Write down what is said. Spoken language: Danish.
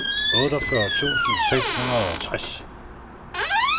otteogfyrre tusind seks hundrede og tres